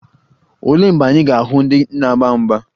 Olee mgbe anyị ga-ahụ ndị na-agba mgba?